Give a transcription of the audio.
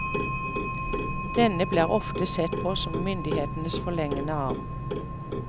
Denne ble ofte sett på som myndighetenes forlengede arm.